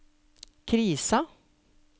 krisa